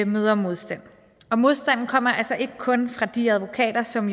møder modstand og modstanden kommer altså ikke kun fra de advokater som